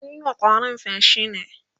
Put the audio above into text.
mun Yi wa ƙwarin feshi ne